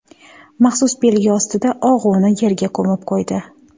Maxsus belgi ostida og‘uni yerga ko‘mib qo‘ydi.